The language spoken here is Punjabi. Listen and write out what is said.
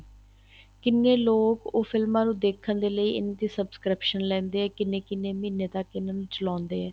ਕਿੰਨੇ ਲੋਕ ਉਹ ਫਿਲਮਾਂ ਨੂੰ ਦੇਖਣ ਦੇ ਲਈ ਇਹਨਾ ਦੀ subscription ਲੈਂਦੇ ਏ ਕਿੰਨੇ ਕਿੰਨੇ ਮਹੀਨੇ ਤੱਕ ਇਹਨਾ ਨੂੰ ਚਲਾਉਦੇ ਏ